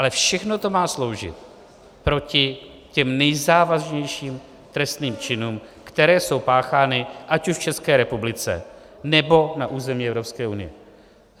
Ale všechno to má sloužit proti těm nejzávažnějším trestným činům, které jsou páchány ať už v České republice, nebo na území Evropské unie.